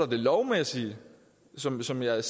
det lovmæssige som som jeg